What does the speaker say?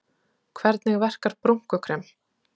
Hvernig verkar brúnkukrem?